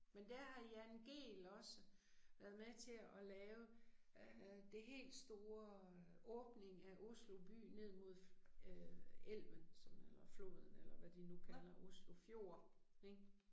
Men der har Jan Gehl også være med til at lave øh det helt store åbning af Oslo by ned mod øh elven som eller floden eller hvad de nu kalder Oslo fjord ik